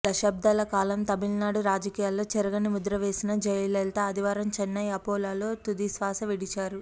దశాబ్దాల కాలం తమిళనాడు రాజకీయాల్లో చెరగని ముద్రవేసిన జయలలిత ఆదివారం చెన్నై అపోలో లో తుదిశ్వాస విడిచారు